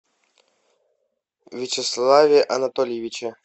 вячеславе анатольевиче